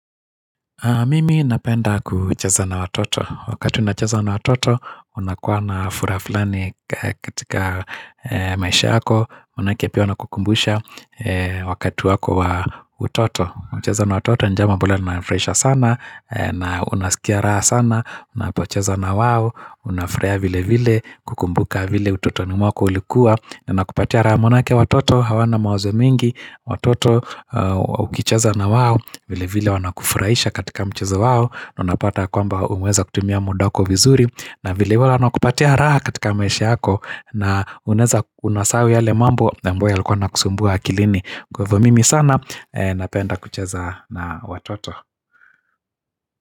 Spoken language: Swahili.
Mimi napenda kucheza na watoto, wakati unacheza na watoto, unakuwa na furaha fulani katika maisha yako, maanake pia wanakukumbusha wakati wako wa utoto, unacheza na watoto, ni jambo ambalo linani furahisha sana, unaskia raha sana, unapocheza na wao, unafurahia vile vile, kukumbuka vile utotoni mwako ulikuwa, na inakupatia raha maanake watoto hawana mawazo mingi Watoto ukicheza na wao vilevile wanakufurahisha katika mchezo wao, na unapata ya kwamba umeweza kutumia muda wako vizuri na vile vile wanakupatia raha katika maisha yako na unaeza unasahau yale mambo ambayo yalikuwa yanakusumbua akilini kwa hivyo mimi sana napenda kucheza na watoto.